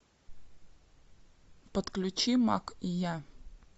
подключи мак и я